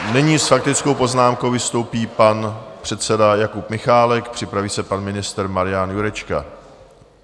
Nyní s faktickou poznámkou vystoupí pan předseda Jakub Michálek, připraví se pan ministr Marian Jurečka.